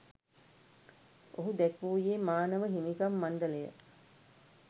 ඔහු දැක්වුයේ මානව හිමිකම් මණ්ඩලය